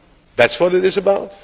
That is what it is about